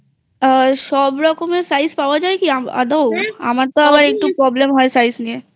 আ সব ধরণের size পাওয়া যায় কি আদৌআমার তোআবার একটু problem হয় size নিয়েI